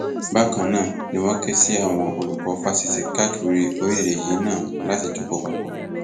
bákan náà ni wọn ké sí àwọn olùkọ fásitì káàkiri orílẹèdè yìí náà láti jókò papọ